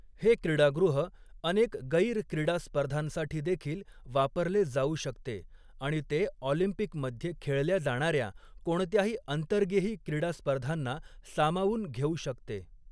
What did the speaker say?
हे क्रीडागृह अनेक गैर क्रीडा स्पर्धांसाठी देखील वापरले जाऊ शकते आणि ते ऑलिम्पिकमध्ये खेळल्या जाणार्या कोणत्याही अंतर्गेही क्रीडा स्पर्धांना सामावून घेऊ शकते.